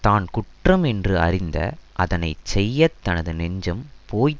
தான் குற்றம் என்று அறிந்த அதனை செய்ய தனது நெஞ்சம் போய்